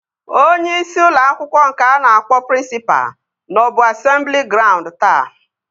Onyeisi ụlọ akwụkwọ nke a na-akpọ prịnsịpa nọbu asemblị graund taata